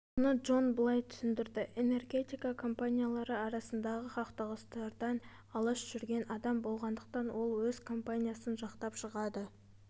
мұны джон былай түсіндірді энергетика компаниялары арасындағы қақтығыстардан алыс жүрген адам болғандықтан ол өз компаниясын жақтап шығады